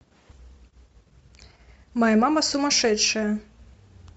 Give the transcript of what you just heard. моя мама сумасшедшая